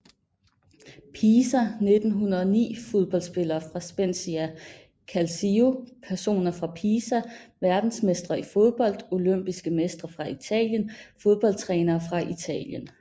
Pisa 1909 Fodboldspillere fra Spezia Calcio Personer fra Pisa Verdensmestre i fodbold Olympiske mestre fra Italien Fodboldtrænere fra Italien